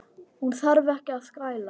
Hún þarf ekki að skæla.